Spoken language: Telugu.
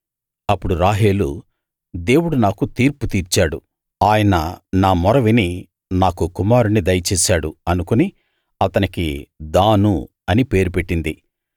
అప్పుడు రాహేలు దేవుడు నాకు తీర్పు తీర్చాడు ఆయన నా మొర విని నాకు కుమారుణ్ణి దయచేశాడు అనుకుని అతనికి దాను అని పేరు పెట్టింది